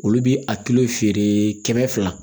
Olu bi a kilo feere kɛmɛ fila